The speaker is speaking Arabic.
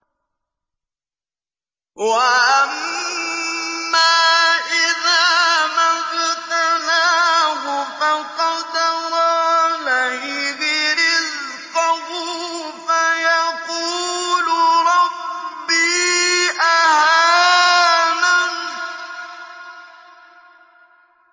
وَأَمَّا إِذَا مَا ابْتَلَاهُ فَقَدَرَ عَلَيْهِ رِزْقَهُ فَيَقُولُ رَبِّي أَهَانَنِ